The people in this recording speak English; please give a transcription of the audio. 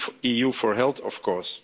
EU4Health, of course.